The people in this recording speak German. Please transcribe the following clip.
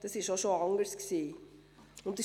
Das war auch schon anders.